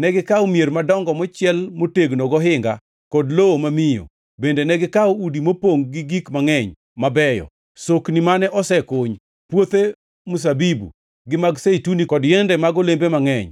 Negikawo mier madongo mochiel motegno gohinga kod lowo mamiyo; bende negikawo udi mopongʼ gi gik mangʼeny mabeyo, sokni mane osekuny, puothe mzabibu, gi mag zeituni kod yiende mag olembe mangʼeny.